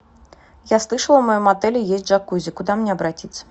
я слышала в моем отеле есть джакузи куда мне обратиться